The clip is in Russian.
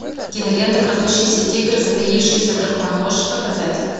кинолента крадущийся тигр затаившийся дракон можешь показать